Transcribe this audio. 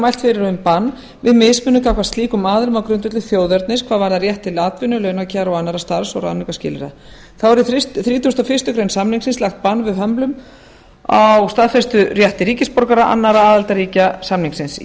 mælt fyrir um bann við mismunun gagnvart slíkum aðilum á grundvelli þjóðernis hvað varðar rétt til atvinnu launakjara og annarra starfs og ráðningarskilyrða þá er í þrítugasta og fyrstu grein samningsins lagt bann við hömlum á staðfesturétti ríkisborgara annarra aðildarríkja samningsins í